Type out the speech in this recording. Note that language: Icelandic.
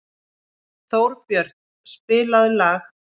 Þórbjörn, spilaðu lag.